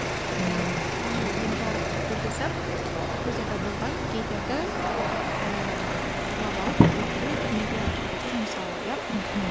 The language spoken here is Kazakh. ііі оның ең жарық үлгісі грузияда болған гейлерді ііі ұрлап алып өлтіру түрмеге отырғызу мысалы иә мхм